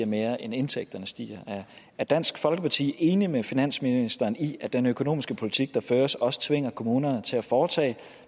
mere end indtægterne stiger er dansk folkeparti enig med finansministeren i at den økonomiske politik der føres også tvinger kommunerne til at foretage